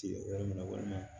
Ci yɔrɔ min na walima